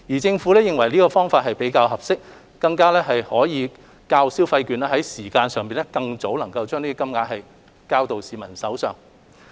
政府認為這樣比較合適，較派發消費券能在時間上更早將款項交到市民手上。